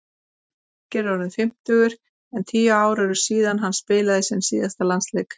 Birkir er orðinn fimmtugur en tíu ár eru síðan hann spilaði sinn síðasta landsleik.